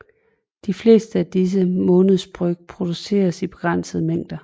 De fleste af disse månedsbryg produceres i begrænsede mængder